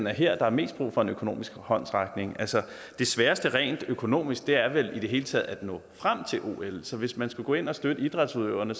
er her der er mest brug for en økonomisk håndsrækning det sværeste rent økonomisk er vel i det hele taget at nå frem til ol så hvis man skulle gå ind og støtte idrætsudøverne